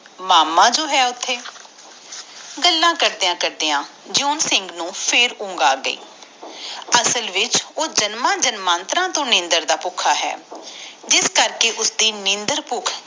ਮਾਮਾ ਜੋ ਹੈ ਓਥੇ ਗੱਲਾਂ ਕਰਦਿਆਂ ਕਰਦਿਆਂ ਜਿਉਂ ਸਿੰਘ ਨੂੰ ਫੇਰ ਊਂਘ ਆ ਗਯੀ ਅਸਲ ਵਿਸਚ ਉਹ ਜਾਮਣ ਜਮੰਤ੍ਰ ਤੋਇ ਨੀਂਦਰ ਦਾ ਭੁੱਖਾ ਆ ਜਿਸ ਕਰਕੇ ਓਹਦੇ ਨੀਂਦਰ ਬੁਖ